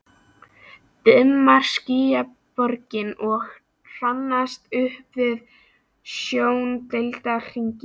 Dimmar skýjaborgir að hrannast upp við sjóndeildarhring.